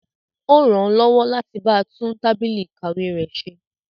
Ó ràn án lọ́wọ́ láti ba tún tábìlì ìkàwé rẹ̀ ṣe.